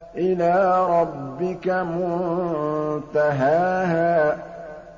إِلَىٰ رَبِّكَ مُنتَهَاهَا